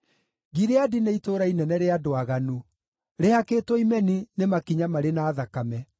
Gileadi nĩ itũũra inene rĩa andũ aaganu, rĩhakĩtwo imeni nĩ makinya marĩ na thakame.